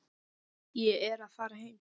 Ég er að fara heim.